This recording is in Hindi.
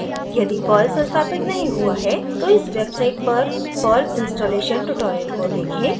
यदि पर्ल संस्थापित नहीं हुआ है तो इस वेबसाइट पर perl installation ट्यूटोरियल को देखें